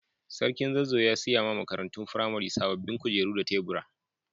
Sarkin Zazzau ya siya ma makarantun firamare sabobin kujeru da taburi.